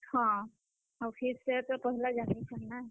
ହଁ, ଆଉ ହେ ସାର୍ ତ ପହେଲା ଜାନିଛନ୍ ନାଁ।